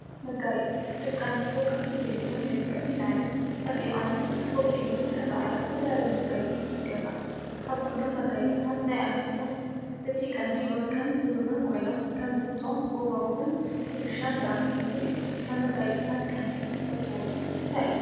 መጋየፂ፡- ደቂ ኣንስትዮ ካብቲ ዘለዎን መልክዕ ንላዕሊ ፀቢቐንን ወቂበንን ክረአያ ዝተፈላለዩ መጋየፂታት ይገብራ፡፡ ካብኩሎም መጋየፅታት ናይ ኣንስትዮ እቲ ቀንዲ ወርቅን ብሩን ኮይኖም ከም ዝብጦ ፣ጎባጉብን ኩትሻን ዝኣመሰሉ እዮም፡፡ ካብ መጋፂታት ቀንዲ ትፈትዎኦ እንታይ እዩ?